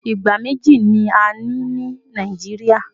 Ìgbà méjì ni a ní ní Nàìjíríà